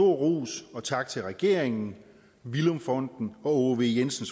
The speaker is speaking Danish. rose og takke regeringen villum fonden og aage v jensen